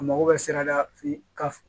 A mago bɛ sirada f'i ka f